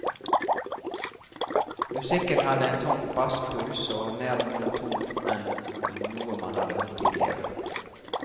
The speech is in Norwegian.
Musikken hadde en tung basspuls, og var mer monoton enn noe man hadde hørt tidligere.